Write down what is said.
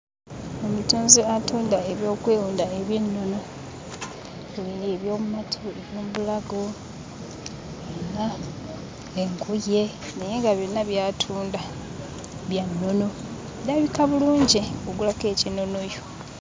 Omutunzi atunda ebyokwewunda eby'ennono eby'omu mutwe, eby'omu bulago, alina engoye naye nga byonna by'atunda bya nnono. Birabika bulungi, ogulako eky'ennono yo.